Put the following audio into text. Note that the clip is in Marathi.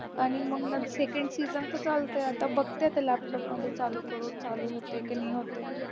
आणि मग second season तर चालतंय आता बघते आता laptop मध्ये चालू करून चालू होते की नाही होत